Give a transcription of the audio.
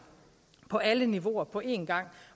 på alle niveauer på en gang